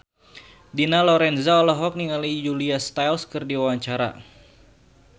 Dina Lorenza olohok ningali Julia Stiles keur diwawancara